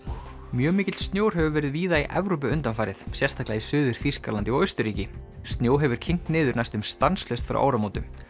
mjög mikill snjór hefur verið víða í Evrópu undanfarið sérstaklega í Suður Þýskalandi og Austurríki snjó hefur kyngt niður næstum stanslaust frá áramótum